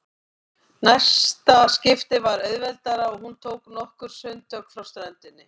Næsta skipti var auðveldara og hún tók nokkur sundtök frá ströndinni.